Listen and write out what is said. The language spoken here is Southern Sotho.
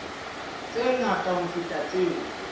tse ngata ho feta tseo